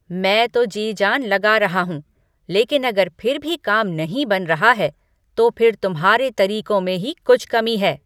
मैं तो जी जान लगा रहा हूँ, लेकिन अगर फिर भी काम नहीं बन रहा है, तो फिर तुम्हारे तरीकों में ही कुछ कमी है।